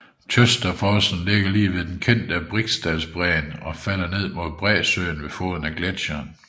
Tjøtafossen ligger lige ved den kendte Briksdalsbreen og falder ned mod bræsøen ved foden af gletcheren